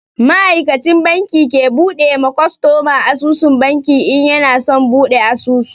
Ma'aikacin banki ke bude ma kwastoma asusun banki in yana son buɗi asusu.